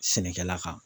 Sɛnɛkɛla kan